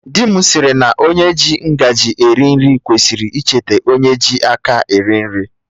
Dị m sịrị na onye ji ngaji eri nri kwesịrị icheta onye ji aka eri nri